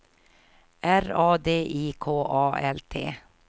R A D I K A L T